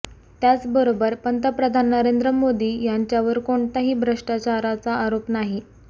त्याचबरोबर पंतप्रधान नरेंद्र मोदी यांच्यावर कोणताही भ्रष्टाचाराचा आरोप नाही